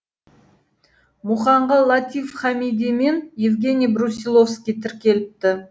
мұқанға латиф хамиди мен евгений брусиловский тіркеліпті